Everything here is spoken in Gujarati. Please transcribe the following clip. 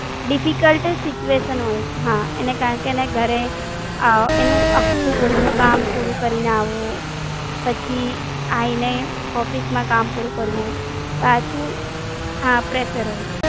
Difficult તો Situation હોઈ છે, હા કારણકે એને ઘરે એનું આખું ઘર નું કામ પૂરું કામ પૂરું કરીને આવવું, પછી આ એને Office માં કામ પૂરું કરવું, પાછું હા Pressure હોઈ.